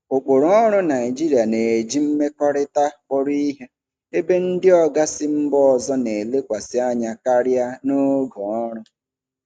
Ụkpụrụ ọrụ Naịjirịa na-eji mmekọrịta kpọrọ ihe, ebe ndị oga si mba ọzọ na-elekwasị anya karịa na oge ọrụ.